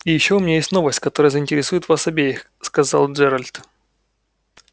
и ещё у меня есть новость которая заинтересует вас обеих сказал джералд